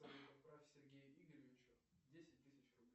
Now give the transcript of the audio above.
отправь сергею игоревичу десять тысяч рублей